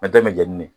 An bɛɛ bɛ jɛn ni ne ye